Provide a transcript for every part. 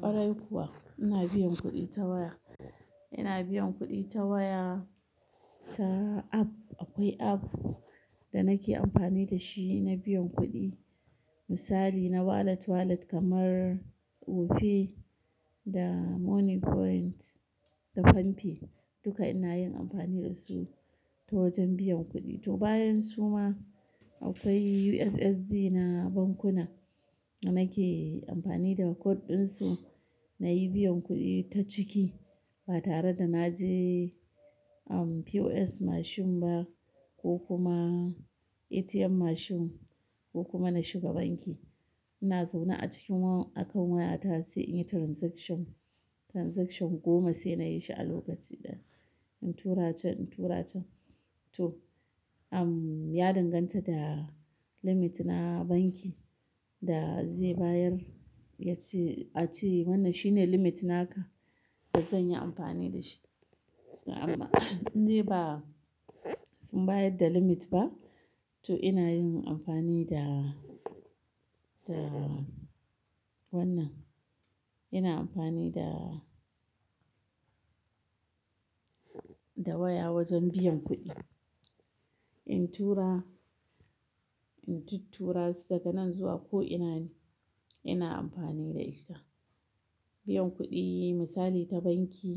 Kwarai kuwa, ina biyan kuɗi ta waya. Ina biyan kuɗi ta waya, ta app. Akwai app da nake amfani da shi na biyan kuɗi. Misali na wallet, wallet kamar opay da moniepoint da palmpay duka ina yin amfani dasu ta wajen biyan kuɗi. To bayan su ma akwai USSD na bankuna da nake amfani da code ɗin su na yi biyan kuɗi ta ciki. Ba tare da na je, um, POS machine ba ko kuma ATM machine ko kuma na shiga banki. Ina zaune a cikin waya akan waya ta sai in yi transaction. Transaction goma sai na yi shi a lokaci ɗaya. In tura can, in tura can. To, um, ya danganta da limit na banki da zai bayar. Ya ce, a ce mana shine limit naka ka da zan yi amfani da shi. Amma in dai ba sun bayar da limit ba. To ina yin amfani da, da wannan. Ina amfani da, da waya wajen biyan kuɗi. In tura, in tuttura su daga nan zuwa ko'ina ne, ina amfani da ita. Biyan kuɗi misali ta banki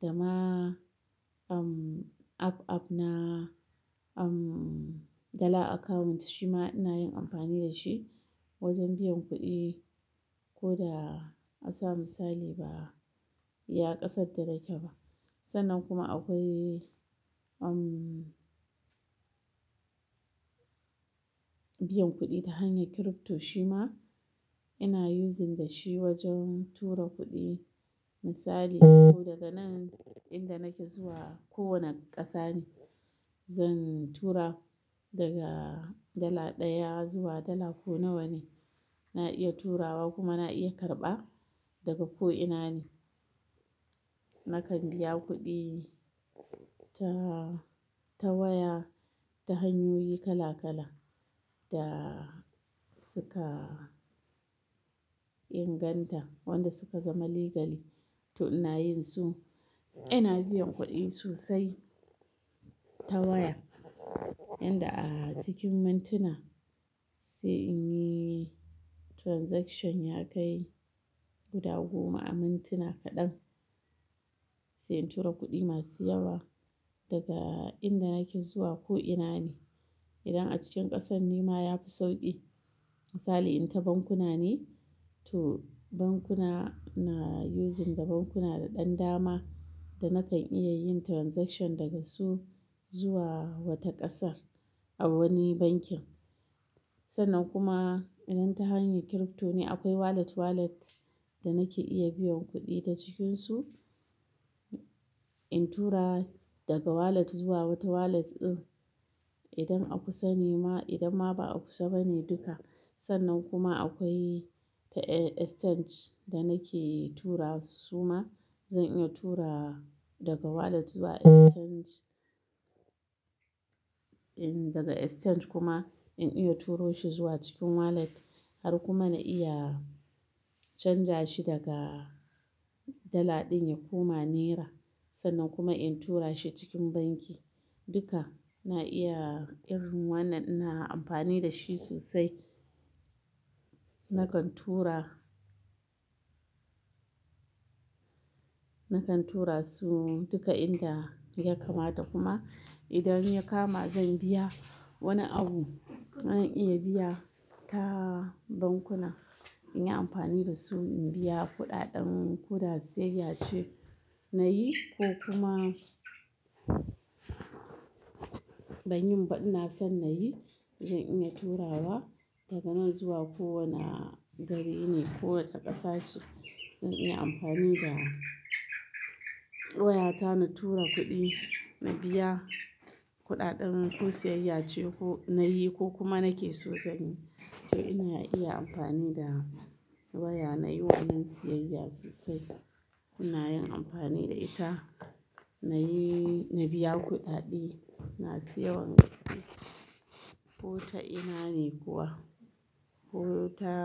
da ma, um, app app na, um, dala account shi ma ina yin amfani da shi wajen biyan kuɗi. Ko da a sa misali ba ya kasance da kyau ba. Sannan kuma akwai, um, biyan kuɗi ta hanyar crypto shi ma ina using da shi wajen tura kuɗi. Misali, ko daga nan inda nake zuwa ko wane ƙasa ne, zan tura daga dala ɗaya zuwa dala ko nawa ne. Na iya turawa kuma na iya karɓa daga ko'ina ne. Nakan biya kuɗi ta, ta waya ta hanyoyi kala-kala da suka inganta, wanda suka zama legalyl. To ina yin su. Ina biyan kuɗi sosai ta waya. Inda a cikin mintuna sai in yi transaction ya kai guda goma a mintuna kaɗan. Sai in tura kuɗi masu yawa daga inda nake zuwa ko'ina ne. Idan a cikin ƙasan ne ma ya fi sauƙi. Misali in ta bankuna ne, to bankuna na using da bankuna da ɗan dama da nakan iya yin transaction daga su zuwa wata ƙasar a wani bankin. Sannan kuma idan ta hanyar crypto ne akwai wallet wallet da nake iya biyan kuɗi ta cikinsu. In tura daga wallet zuwa wata wallet. Eh, idan a kusa ne ma, idan ma ba a kusa bane duka. Sannan kuma akwai ta, eh, exchange da nake tura su su ma. Zan iya tura daga wallet zuwa exchange. Eh, daga exchange kuma in iya turo shi zuwa cikin wallet har kuma na iya canja shi daga dala ɗin ya koma naira. Sannan kuma in tura shi cikin banki. Duka na iya irin wannan ina amfani da shi sosai. Nakan tura, nakan tura su duka inda ya kamata kuma idan ya kama zan biya wani abu, zan iya biya ta bankuna. In yi amfani da su in biya kuɗaɗen koda siyayya ce nayi ko kuma ban yin ba ina son na yi. Zan iya turawa daga nan zuwa ko wane gari ne ko wata ƙasa ce. Zan iya amfani da waya ta na tura kuɗi, na biya kuɗaɗen ko siyayya ce ko nayi ko kuma nake so zanyi. To ina iya amfani da waya nayi wanan siyayya sosai. Kuna yin amfani da ita. Nayi, na biya kuɗaɗie. Na sayi wani gaskiya ko ta'ina ne kuwa. Ko ta.